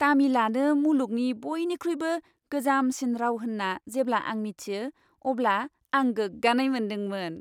तामिलआनो मुलुगनि बयनिख्रुइबो गोजामसिन राव होन्ना जेब्ला आं मिथियो अब्ला आं गोग्गानाय मोनदोंमोन।